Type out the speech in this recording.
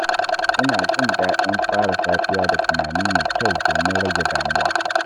Ina jin daɗin fara safiya da tunani mai kyau domin rage damuwa.